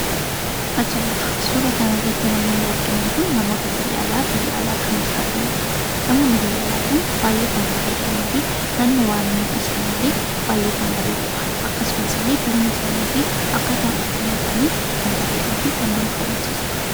Ajaa'iba! Suuraa kanarratti namoonni arginu kun namoota biyya alaa kan jiraatanidha. Namoonni biyya alaa kun baayyee kan bareedaniifi naannowwan isaaniillee baayyee kan bareedudha. Akkasumasillee bifni isaaniifi haalli uffannaa isaanii kan bareeduufi kan nama hawwisiisudha.